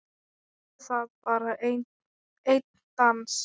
Gerðu það, bara einn dans.